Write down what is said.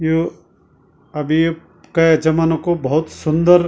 यु अभी यू कै जमाना कु भौत सुन्दर --